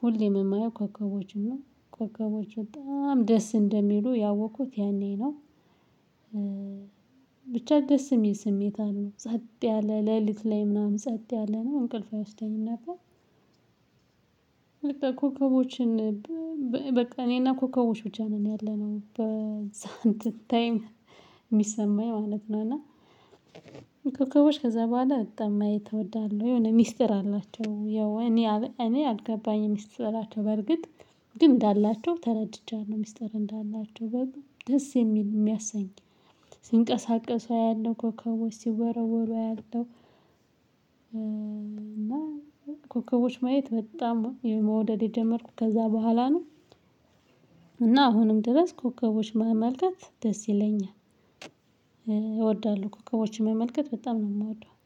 ሁሌም የማየው ኮከቦችን ነው ኮከቦችን በጣም ደስ እንደሚሉ ያወኩት ያኔ ነው። ብቻ ደስ የሚል ስሜት አሉ ጸጥ ያለ ሌሊት ላይ ምናምን ጸጥ ያለ ነው እንቅልፍ አይወስደኝም እና። በቃ ኮከቦችን በቃ እኔና ኮከቦች ብቻ ነን ያለነው በዛ እንትን ታይም የሚሰማኝ ማለት ነው። እና ኮከቦች ከዛ በኋላ በጣም እወዳለሁ የሆነ ሚስጥር አላቸው ያው እኔ እኔ አልገባኝም ሚስጥራቸው በርግጥ ግን እንዳላቸው ተረድቻለሁ። ሚስጥር እንዳላቸው በሉ ደስ የሚል የሚያሰኝ ሲንቀሳቀሱ ያለው ኮከቦች ሲወረወሩ አያለሁ። እና ኮከቦች ማየት በጣም መውደድ የጀመርኩት ከዛ በኋላ ነው። እና አሁንም ድረስ ኮከቦች ማመልከት ደስ ይለኛል እወዳለሁ ኮከቦችን መመልከት በጣም ነው የምወደው